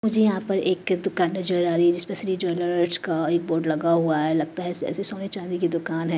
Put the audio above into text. मुझे यहाँ पर एक दुकान नजर आ रही है जिसपे श्री ज्वेलर्स का एक बोर्ड लगा हुआ है लगता है ऐसे सोने चांदी की दुकान हैं।